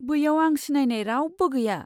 बैयाव आं सिनायनाय रावबो गैया।